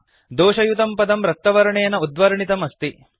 दोषयुतं पदं रक्तवर्णेन उद्वर्णितं अस्ति